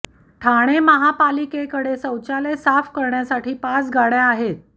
ठाणे महापालिकेक डे शौचालय साफ करण्यासाठी पाच गाडय़ा आहेत